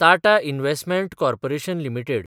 Tata investment corporation limited